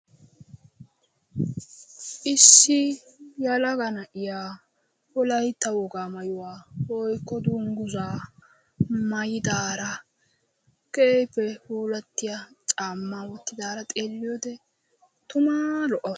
issi yelega na'iyaa wolaytta wogaa mayuhwaa woykko dunguzzaa maayidaara keehippe puulattiyaa caammaa woottidaara xeeliyoode tumaa lo"aawus.